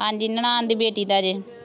ਹਾਂਜੀ ਨਨਾਣ ਦੀ ਬੇਟੀ ਦਾ ਜੇ